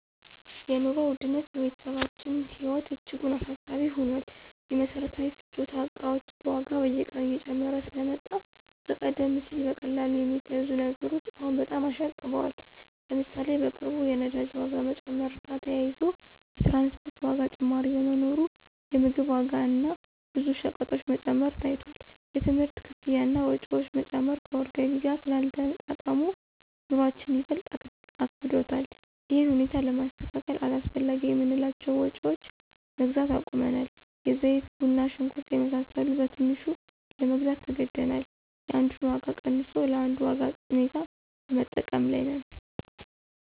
የኑሮ ውድነት በቤተሰባችን ህይወት እጅጉን አሳሳቢ ሆኗል። የመሰረታዊ ፍጆታ እቃዎች ዋጋ በየቀኑ እየጨመረ ስለመጣ ከቀደም ሲል በቀላሉ የሚገዙ ነገሮች አሁን በጣም አሻቅበዋል። ለምሳሌ፣ በቅርቡ የነዳጅ ዋጋ መጨመር ጋር ተያይዞ የትራንስፖርት ዋጋ ጭማሪ በመኖሩ የምግብ ዋጋ እና ብዙ ሸቀጦች መጨመር ታይቷል። የትምህርት ክፍያ እና ወጪዎች መጨመር ከወር ገቢ ጋር ስላልተጣጣሙ፣ ኑሮአችን ይበልጥ አክብዶታል። ይህን ሁኔታ ለማስተካከል አላስፈላጊ የምንላቸውን ወጭዎች መግዛት አቁመናል። የዘይት፣ ቡና፣ ሽንኩርት የመሳሰሉ በትንሹ ለመግዛት ተገደናል። የአንዱን ወጭ ቀንሶ ለአንዱ ማድረግ ሁኔታ በመጠቀም ላይ ነን።